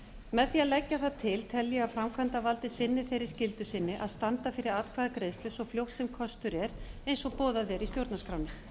með því að leggja það til tel ég að framkvæmdarvaldið sinni þeirri skyldu sinni að standa fyrir atkvæðagreiðslu svo fljótt sem kostur er eins og boðað er í stjórnarskránni